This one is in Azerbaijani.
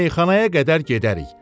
Meyxanaya qədər gedərik.